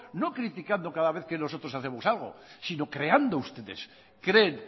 no criticando cada vez que nosotros hacemos algo sino creando ustedes creen